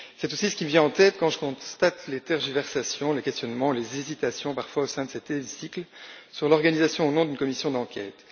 C'est aussi ce qui me vient en tête quand je constate les tergiversations, les questionnements, les hésitations parfois au sein de cet hémicycle sur l'organisation ou non d'une commission d'enquête.